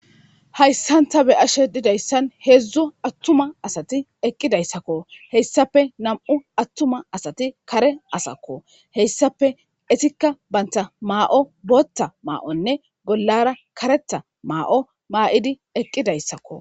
Hayssanta be ashe didayssan heedzdzo attuma asati eqqidayssakko heyssape nam'u attuma asati kare asakko heyssape esikka baynta maa'o bootta maa'onne bollara kareta maa'o maa'idi eqqidayssakko.